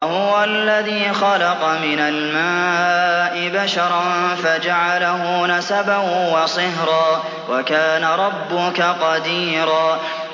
وَهُوَ الَّذِي خَلَقَ مِنَ الْمَاءِ بَشَرًا فَجَعَلَهُ نَسَبًا وَصِهْرًا ۗ وَكَانَ رَبُّكَ قَدِيرًا